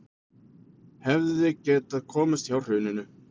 Hefðu getað komist hjá hruninu